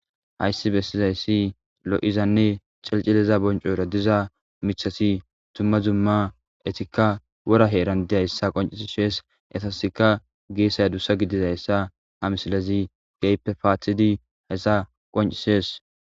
Hayssi bessizayssi lo7izanne cilicilida bonccoora diza miththathi dumma dumma ethikka wora heeran dizayssa qonccisses; ethassikka geesay adussa gidizayssa ha misilezi keehippe paathtizi heysa qonccisses.